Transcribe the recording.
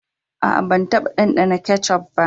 Aa, ban taba dandana ketchup ba.